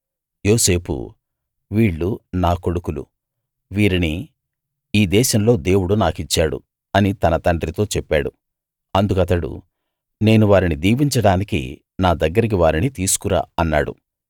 యోసేపు వీళ్ళు నా కొడుకులు వీరిని ఈ దేశంలో దేవుడు నాకిచ్చాడు అని తన తండ్రితో చెప్పాడు అందుకతడు నేను వారిని దీవించడానికి నా దగ్గరికి వారిని తీసుకు రా అన్నాడు